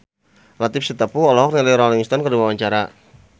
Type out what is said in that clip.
Latief Sitepu olohok ningali Rolling Stone keur diwawancara